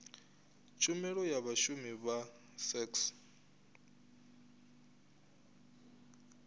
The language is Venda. tshumelo ya vhashumi vha sax